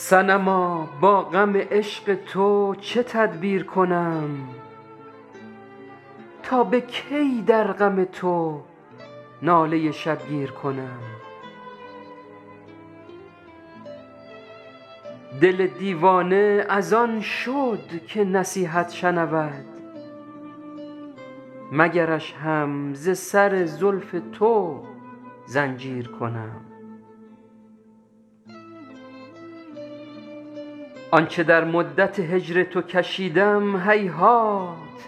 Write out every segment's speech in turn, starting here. صنما با غم عشق تو چه تدبیر کنم تا به کی در غم تو ناله شبگیر کنم دل دیوانه از آن شد که نصیحت شنود مگرش هم ز سر زلف تو زنجیر کنم آن چه در مدت هجر تو کشیدم هیهات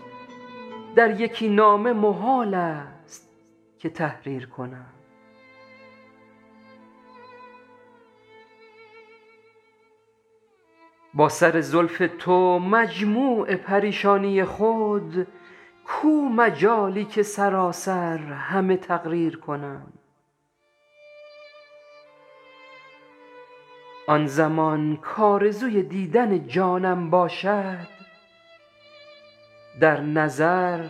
در یکی نامه محال است که تحریر کنم با سر زلف تو مجموع پریشانی خود کو مجالی که سراسر همه تقریر کنم آن زمان کآرزوی دیدن جانم باشد در نظر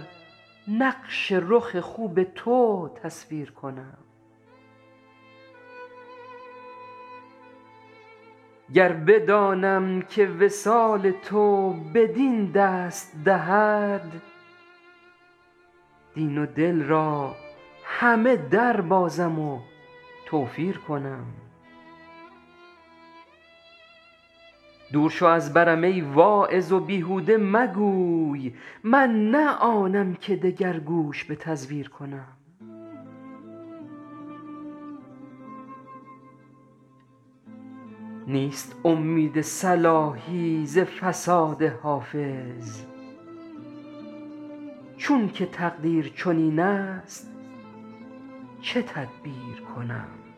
نقش رخ خوب تو تصویر کنم گر بدانم که وصال تو بدین دست دهد دین و دل را همه دربازم و توفیر کنم دور شو از برم ای واعظ و بیهوده مگوی من نه آنم که دگر گوش به تزویر کنم نیست امید صلاحی ز فساد حافظ چون که تقدیر چنین است چه تدبیر کنم